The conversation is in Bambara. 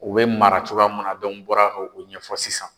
U bɛ mara cogoya munna n bɔra ko o ɲɛfɔ sisan.